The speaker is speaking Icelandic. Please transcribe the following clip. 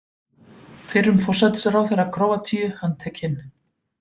Fyrrum forsætisráðherra Króatíu handtekinn